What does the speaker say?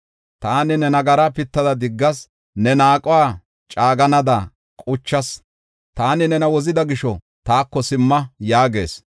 Taani ne nagaraa pittada diggas, ne naaquwa caaganada quchas. Taani nena wozida gisho, taako simma” yaagees.